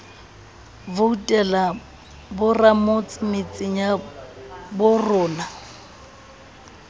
voutela boramotse metseng ya borona